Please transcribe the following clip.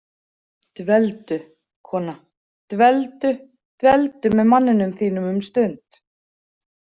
Dveldu, kona, dveldu- dveldu með manninum þínum um stund.